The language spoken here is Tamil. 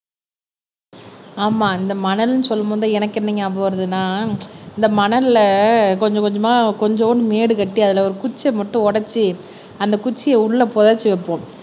ஆமா இந்த மணல்ன்னு சொல்லும் போதுதான் எனக்கு என்ன ஞாபகம் வருதுன்னா இந்த மணல்ல கொஞ்சம் கொஞ்சமா கொஞ்சோண்டு மேடுகட்டி அதுல ஒரு குச்சியை மட்டும் உடைச்சு அந்த குச்சியை உள்ள புதைச்சு வைப்போம்